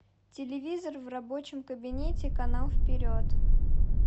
телевизор в рабочем кабинете канал вперед